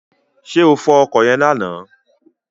Ṣé o fọ ọkọ̀ yẹn lánàá?